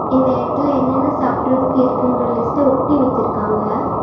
இந்த இடத்துல என்னென்ன சாப்பிடறதுக்கு இருக்குங்ற லிஸ்ட ஒட்டி வச்சுருக்காங்க.